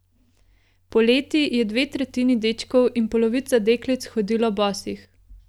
Poleti je dve tretjini dečkov in polovica deklic hodilo bosih.